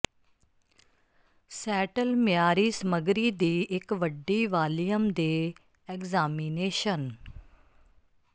settle ਮਿਆਰੀ ਸਮੱਗਰੀ ਦੀ ਇੱਕ ਵੱਡੀ ਵਾਲੀਅਮ ਦੇ ਐਗਜ਼ਾਮਿਨੇਸ਼ਨ